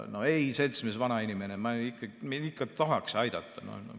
"No ei, seltsimees vanainimene, me ikka tahaks aidata.